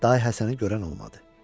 Da Həsəni görən olmadı.